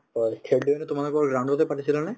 হয়, খেলতো সেইটো তোমালোকৰ ground তে পাতিছিলানে ?